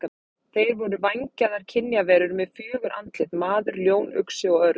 Þeir voru vængjaðar kynjaverur með fjögur andlit: maður, ljón, uxi og örn.